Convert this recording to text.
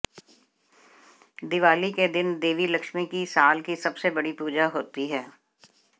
दिवाली के दिन देवी लक्ष्मी की साल की सबसे बड़ी पूजा होती है